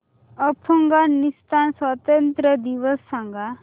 अफगाणिस्तान स्वातंत्र्य दिवस सांगा